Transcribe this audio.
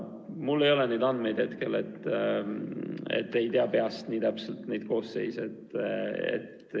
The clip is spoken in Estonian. Mul ei ole neid andmeid käepärast, ei tea peast nii täpselt neid koosseise.